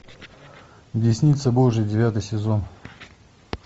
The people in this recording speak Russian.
десница божья девятый сезон